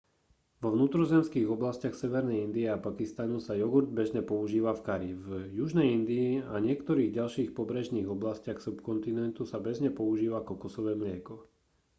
vo vnútrozemských oblastiach severnej indie a pakistanu sa jogurt bežne používa v kari v južnej indii a niektorých ďalších pobrežných oblastiach subkontinentu sa bežne používa kokosové mlieko